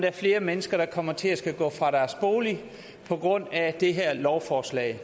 er flere mennesker der kommer til at skulle gå fra deres bolig på grund af det her lovforslag